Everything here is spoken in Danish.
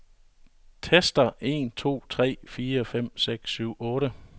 Tester en to tre fire fem seks syv otte.